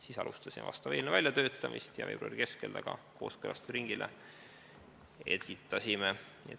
Siis alustasime eelnõu väljatöötamist ja veebruari keskel selle kooskõlastusringile esitasime.